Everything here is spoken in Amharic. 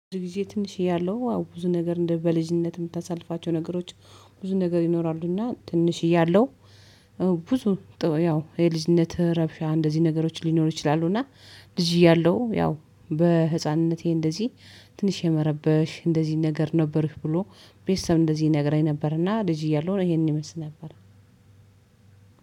ጊዜ ትንሽ ያለው ብዙ ነገር እንደ በልጅነት የምታሳልፋቸው ነገሮች ብዙ ነገር ይኖራሉና። ትንሽ ያለው ብዙ ያው የልጅነት ረብሻ እንደዚህ ነገሮች ሊኖሩ ይችላሉ። እና ልጅ እያለሁ ያው በህፃንነቴ እንደዚህ ትንሽ የመረበሽ እንደዚህ ነገር ነበርሽ ብሎ፤ ቤተሰብ እንደዚህ እነግረኝ ነበርና ልጅ እያሉ ነው ይሄንን ይመስል ነበር።